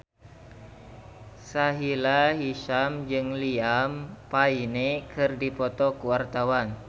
Sahila Hisyam jeung Liam Payne keur dipoto ku wartawan